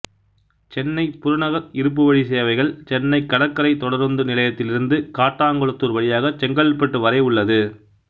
சென்னை புறநகர் இருப்புவழி சேவைகள் சென்னைக் கடற்கரை தொடருந்து நிலையத்திலிருந்து காட்டாங்குளத்தூர் வழியாக செங்கல்பட்டு வரை உள்ளது